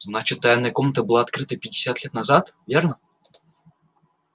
значит тайная комната была открыта пятьдесят лет назад верно